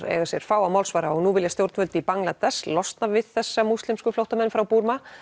eiga sér fáa málsvara og nú vilja stjórnvöld í Bangladess losna við þessa múslimsku flóttamenn frá Búrma